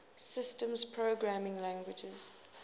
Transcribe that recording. systems programming languages